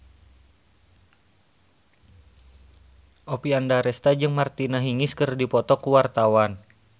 Oppie Andaresta jeung Martina Hingis keur dipoto ku wartawan